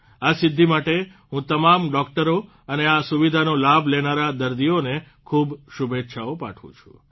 આ સિદ્ધિ માટે હું તમામ ડોકટરો અને આ સુવિધાનો લાભ લેનારા દર્દીઓને ખૂબ શુભેચ્છાઓ પાઠવું છું